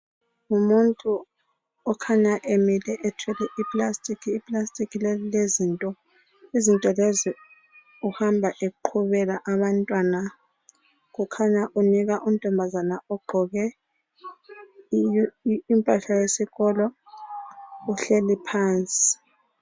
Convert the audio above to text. Ngumuntu okhanya emile ethwele I plastic, iplastic leli lilezinto, izinto lezi uhamba eqhubela abantwana kukhanya unika untombazana ogqoke impahla yesikolo uhleli phansi.